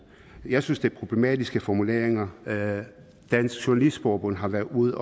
jeg synes det er problematiske formuleringer dansk journalistforbund har været ude